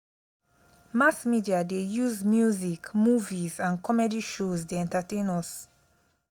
mass media dey use music movies and comedy shows dey entertain us.